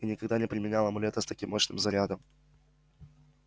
и никогда не применял амулета с таким мощным зарядом